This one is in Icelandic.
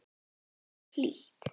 Þar er hlýtt.